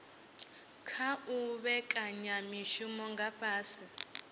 khou vhekanya mishumo nga fhasi